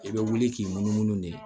I bɛ wuli k'i munumunu de